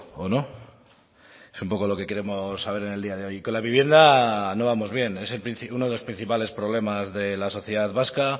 o no es un poco lo que queremos saber en el día de hoy con la vivienda no vamos bien es uno de los principales problemas de la sociedad vasca